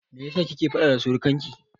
Me yasa kike faɗa da surikanki?